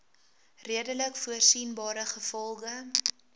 redelik voorsienbare gevolge